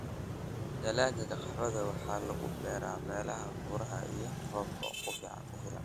Dalagga qaxwada waxaa lagu beeraa meelaha buuraha iyo roobka ku filan.